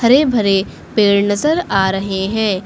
हरे भरे पेड़ नजर आ रहे हैं।